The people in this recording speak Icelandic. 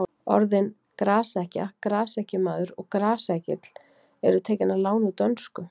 Orðin grasekkja, grasekkjumaður og grasekkill eru tekin að láni úr dönsku.